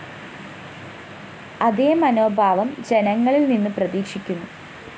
അതേ മനോഭാവം ജനങ്ങളില്‍നിന്നു പ്രതീക്ഷിക്കുന്നു